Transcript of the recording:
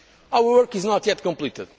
economy. Our work is not yet